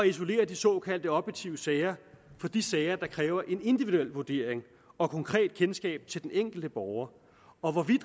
isolere de såkaldt objektive sager fra de sager der kræver en individuel vurdering og konkret kendskab til den enkelte borger og